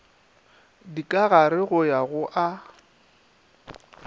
dikagare go ya go a